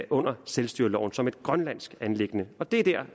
under selvstyreloven som et grønlandsk anliggende og det er